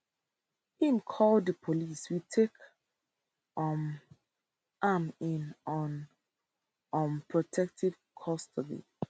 im call di police we take um am in on um protective custody